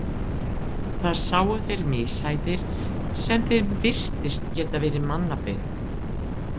Þar sáu þeir mishæðir sem þeim virtist geta verið mannabyggð.